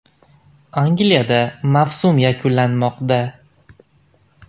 Angliyada mavsum yakunlanmoqda.